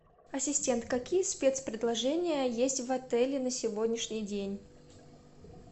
ассистент какие спецпредложения есть в отеле на сегодняшний день